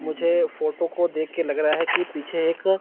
मुझे फोटो को देख के लग रहा है कि पीछे एक--